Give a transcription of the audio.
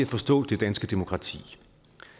forstå det danske demokrati